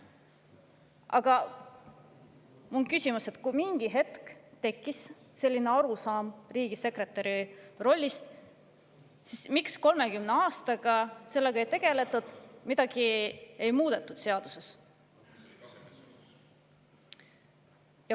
Aga mul on küsimus, et kui mingil hetkel tekkis selline arusaam riigisekretäri rollist, siis miks ei ole 30 aasta jooksul sellega tegeldud ja seaduses midagi muudetud.